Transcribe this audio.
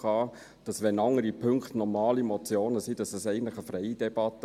Wenn andere Punkte die normale Motionsform haben, wäre es eigentlich eine freie Debatte.